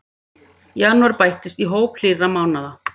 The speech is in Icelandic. Janúar bættist í hóp hlýrra mánaða